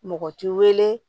Mɔgɔ t'i wele